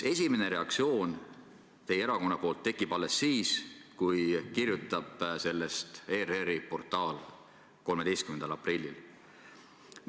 Esimene reaktsioon teie erakonnalt tekib alles siis, kui sellest kirjutab ERR-i portaal 13. aprillil.